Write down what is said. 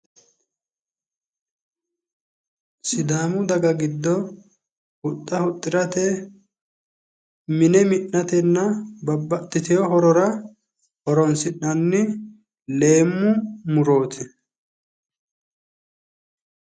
Sidaamu daga giddo huxxa huxxirate mine mi'natenna babbaxxiteyo horora horonsi'nanni leemmu murooti